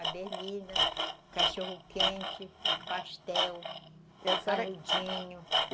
A berlina, o cachorro-quente, o pastel, o saludinho.